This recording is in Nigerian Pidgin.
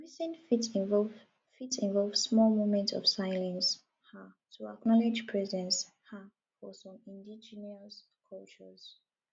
greeting fit involve fit involve small moment of silence um to acknowledge presence um for some indigenous cultures